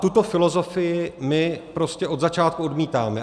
Tuto filozofii my prostě od začátku odmítáme.